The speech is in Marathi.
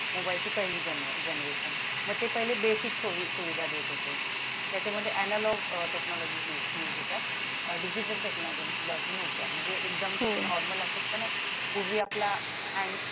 मोबाइलची पहिली generation मग ते पहिले basic सुविधा देत होते त्याच्यामध्ये analog technology digital technology नव्हत्या म्हणजे एकदम normal असं होत ना पूर्वी आपला